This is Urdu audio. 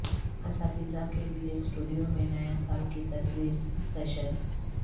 اساتذہ کے لئے سٹوڈیو میں نیا سال کی تصویر سیشن